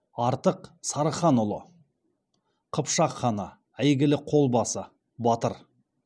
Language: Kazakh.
артық сарыханұлы қыпшақ ханы әйгілі қолбасы батыр